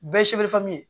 Bɛɛ